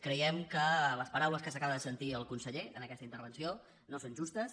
creiem que les paraules que acaba de sentir el conseller en aquesta intervenció no són justes